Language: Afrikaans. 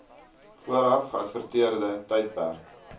vooraf geadverteerde tydperk